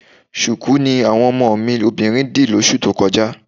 Ṣùkú ni àwọn ọmọ mi obìnrin dì lóṣù tó kọjá